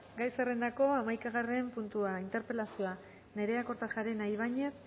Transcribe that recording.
gai zerrendako hamaikagarren puntua interpelazioa nerea kortajarena ibañez